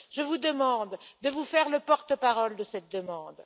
Je vous demande de vous faire le porte parole de cette demande.